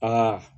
Aa